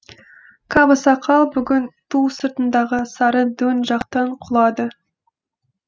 каба сақал бүгін ту сыртындағы сары дөң жақтан құлады